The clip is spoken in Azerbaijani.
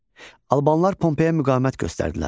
Albanlar Pompeyə müqavimət göstərdilər.